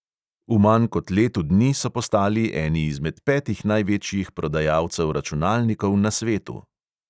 V manj kot letu dni so postali eni izmed petih največjih prodajalcev računalnikov na svetu.